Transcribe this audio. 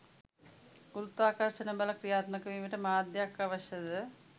ගුරුත්වාකර්ෂණ බල ක්‍රියාත්මක වීමට මාධ්‍යයක් අවශ්‍යද?